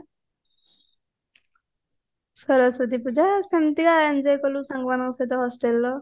ସରସ୍ଵତୀ ପୂଜା ସେମତିକା enjoy କଲୁ ସାଙ୍ଗ ମାନଙ୍କ ସହିତ hostelର